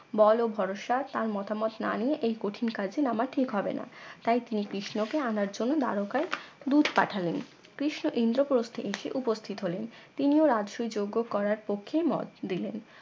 বল ও ভরসা তার মতামত না নিয়ে এই কঠিন কাজে নামা ঠিক হবে না তাই তিনি কৃষ্ণ কে আনার জন্য দ্বারকায় দূত পাঠালেন কৃষ্ণ ইন্দ্রপ্রস্থে এসে উপস্থিত হলেন তিনিও রাজসুই যজ্ঞ করার পক্ষে মত দিলেন